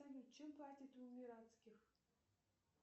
салют чем платят в эмиратских